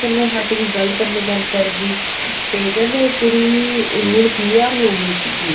ਕਰਨੋ ਹੱਟ ਗਈ ਗੱਲ ਕਰਨੋ ਬੰਦ ਕਰ ਗਈ ਤੇ ਕਹਿੰਦੇ ਉਹ ਕੁੜੀ ਹੁਣ PR ਹੋ ਗਈ ਸੀਗੀ